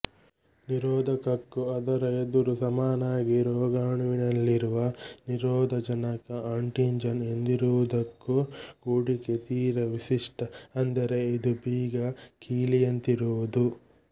ನಿರೋಧಕಕ್ಕೂ ಅದರ ಎದುರು ಸಮನಾಗಿ ರೋಗಾಣುವಿನಲ್ಲಿರುವ ನಿರೋಧಜನಕ ಆಂಟಿಜನ್ ಎಂದಿರುವುದಕ್ಕೂ ಕೂಡಿಕೆ ತೀರ ವಿಶಿಷ್ಟ ಅಂದರೆ ಇದು ಬೀಗ ಕೀಲಿಯಂತಿರುವುದು